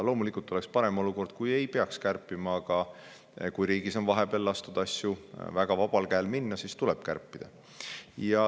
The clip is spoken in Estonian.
Loomulikult oleks olukord parem, kui ei peaks kärpima, aga kui riigis on vahepeal lastud asju väga vabal käel minna, siis tuleb kärpida.